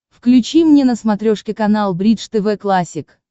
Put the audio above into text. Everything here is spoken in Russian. включи мне на смотрешке канал бридж тв классик